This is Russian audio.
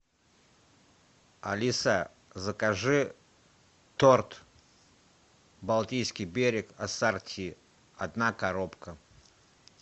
алиса закажи торт балтийский берег ассорти одна коробка